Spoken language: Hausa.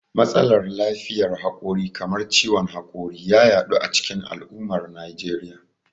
Matsalar lafiyar hakori kamar ciwon hakori ya yaɗu a cikin al'ummar Najeriya.